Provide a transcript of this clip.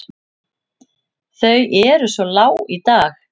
Þau eru svo lág í dag.